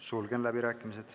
Sulgen läbirääkimised.